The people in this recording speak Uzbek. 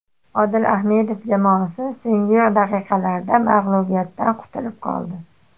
Odil Ahmedov jamoasi so‘nggi daqiqalarda mag‘lubiyatdan qutulib qoldi.